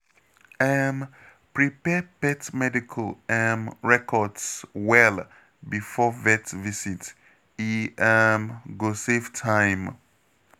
um Prepare pet medical um records well before vet visit, e um go save time.